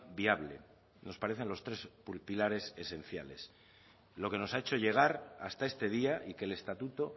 viable nos parecen los tres pilares esenciales lo que nos ha hecho llegar hasta este día y que el estatuto